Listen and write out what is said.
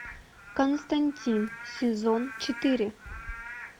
константин сезон четыре